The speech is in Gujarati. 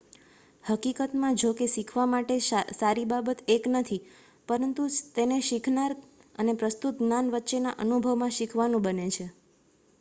હકીકતમાં જો કે શીખવા માટે સારી બાબત એક નથી પરંતુ તેને શીખનાર અને પ્રસ્તુત જ્ઞાન વચ્ચેના અનુભવમાં શીખવાનું બને છે